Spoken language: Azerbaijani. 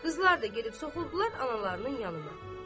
Qızlar da gedib soxuldular analarının yanına.